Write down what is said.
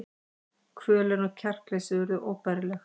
Kvölin og kjarkleysið urðu óbærileg.